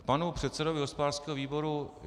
K panu předsedovi hospodářského výboru.